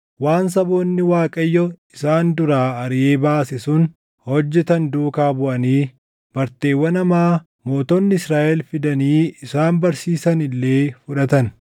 waan saboonni Waaqayyo isaan duraa ariʼee baase sun hojjetan duukaa buʼanii barteewwan hamaa mootonni Israaʼel fidanii isaan barsiisan illee fudhatan.